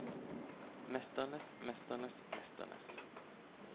mesternes mesternes mesternes